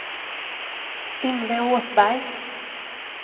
Yngve Åsberg